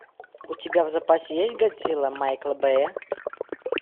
у тебя в запасе есть годзилла майкла бэя